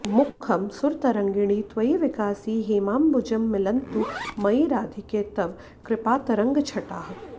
मुखं सुरतरङ्गिणि त्वयि विकासि हेमाम्बुजं मिलन्तु मयि राधिके तव कृपातरङ्गच्छटाः